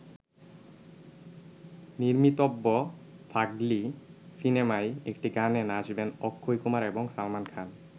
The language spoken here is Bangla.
নির্মিতব্য ‘ফাগলি’ সিনেমায় একটি গানে নাচবেন অক্ষয় কুমার এবং সালমান খান।